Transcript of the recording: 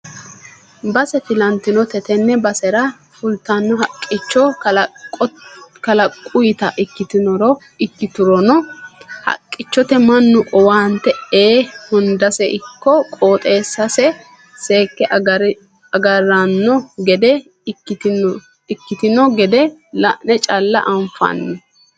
Base filantinote tene basera fultino haqqicho kalaqutta ikkiturono haqqichote mannu owaante ee hundase ikko qooxeessase seekke agarino gede ikkitino gede la'ne calla anfanni.